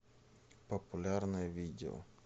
популярное видео